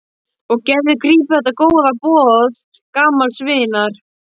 Og Gerður grípur þetta góða boð gamals vinar.